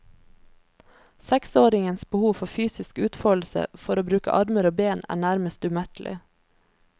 Seksåringens behov for fysisk utfoldelse, for å bruke armer og ben, er nærmest umettelig.